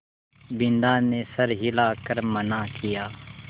बिन्दा ने सर हिला कर मना किया